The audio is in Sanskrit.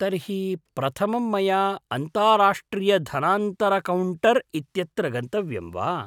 तर्हि, प्रथमं मया अन्ताराष्ट्रियधनान्तरणकौण्टर् इत्यत्र गन्तव्यं वा?